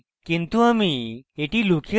কিন্তু আমি এটি লুকিয়ে দেবো